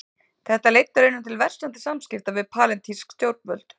Þetta leiddi raunar til versnandi samskipta við palestínsk stjórnvöld.